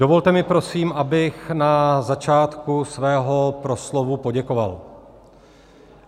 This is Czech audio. Dovolte mi, prosím, abych na začátku svého proslovu poděkoval.